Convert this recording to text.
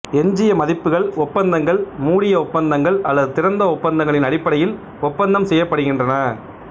எஞ்சிய மதிப்புகள் ஒப்பந்தங்கள் மூடிய ஒப்பந்தங்கள் அல்லது திறந்த ஒப்பந்தங்களின் அடிப்படையில் ஒப்பந்தம் செய்யப்படுகின்றன